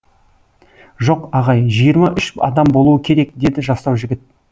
жоқ ағай жиырма үш адам болуы керек деді жастау жігіт